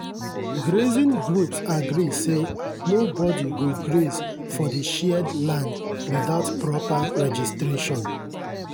grazing groups agree say nobody go graze for the shared land without proper registration.